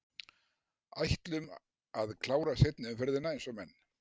Ætlum að klára seinni umferðina eins og menn!